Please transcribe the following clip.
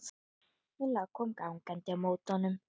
Milla kom gangandi á móti honum.